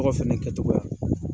fɛnɛ kɛtogoya.